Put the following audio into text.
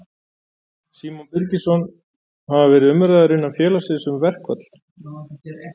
Símon Birgisson: Hafa verið umræður innan félagsins um verkfall?